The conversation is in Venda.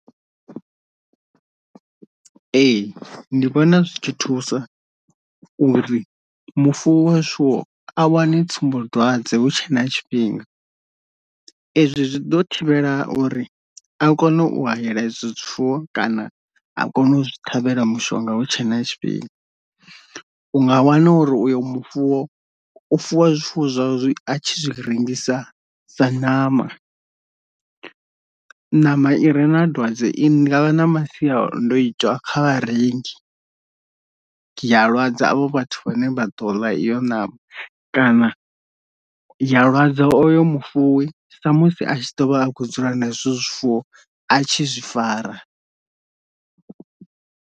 Ee ndi vhona zwi tshi thusa uri mufuwi wa zwifuwo a wane tsumbodwadze hu tshe na tshifhinga, ezwi zwi ḓo thivhela uri a kone u hayela ezwo zwifuwo kana a kone u zwi ṱhavhela mushonga hu tshe na tshifhinga, u nga wana uri uyo mufuwo u fuwa zwifuwo zwa a tshi zwi rengisa sa ṋama, ṋama ire na dwadze i ndi nga vha na masiandoitwa kha vharengi ya lwadza avho vhathu vhane vha ḓo ḽa iyo ṋama kana ya lwadza oyo mufuwi sa musi a tshi ḓo vha a khou na izwo zwifuwo a tshi zwi fara.